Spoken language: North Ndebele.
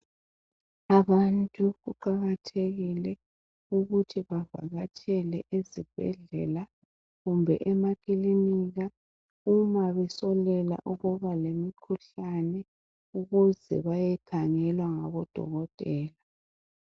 Abantu kuqakathekile ukuthi bavakatshele esibhedlela kumbe emakilinika uma besolela ukuba lemikhuhlane ukuze bayekhangelwa ngabodokotela.